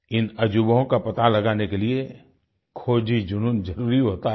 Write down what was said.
इन अजूबों का पता लगाने के लिए खोजी जुनून जरुरी होता है